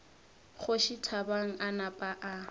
kgoši thabang a napa a